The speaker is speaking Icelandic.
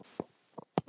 Afi var alltaf að.